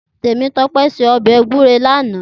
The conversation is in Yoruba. Temitope sé òbè gúré làná